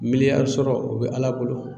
Miliyar sɔrɔ o bɛ ala bolo.